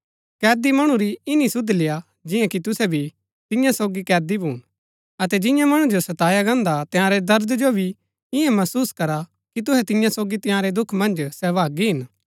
कैदी मणु री ईनी सुध लेय्आ जिआं कि तुसै भी तियां सोगी कैदी भून अतै जिआं मणु जो सताया गान्दा हा तंयारै दर्द जो भी इन्या महसुस करा कि तुहै तिन्या सोगी तंयारै दुख मन्ज सहभागी हिन